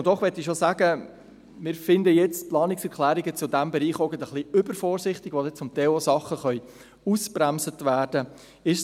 Doch möchte ich bereits sagen, dass wir die Planungserklärungen zu diesem Bereich etwas übervorsichtig finden, weil zum Teil auch Dinge ausgebremst werden können.